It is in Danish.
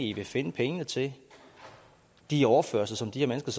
i vil finde pengene til de overførselsindkomster